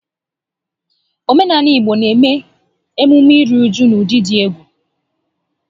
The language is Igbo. Omenaala Igbo n'eme emume ili ozu n'ụdị dị egwu